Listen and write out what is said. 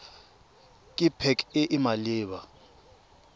ke pac e e maleba